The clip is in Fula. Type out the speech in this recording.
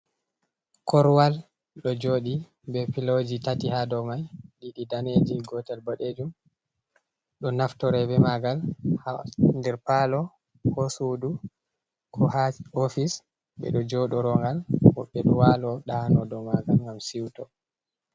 Korwal ɗo joɗi be piloji tati ha dou mai, ɗiɗi ɗanejum gotel boɗejum, ɗo naftira be magal ha nder palo ko ha sudu, ko ha ofise, ɓe ɗo joɗoro ngal woɓɓe ɗo walo ɗano dou magal ngam siwto.